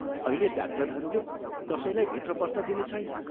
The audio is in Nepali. अहिले डाक्टरहरूले कसैलाई भित्र पस्न दिनेछैनन्।